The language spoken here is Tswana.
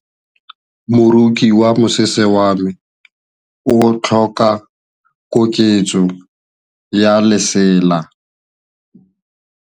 Moroki wa mosese wa me o tlhoka koketsô ya lesela.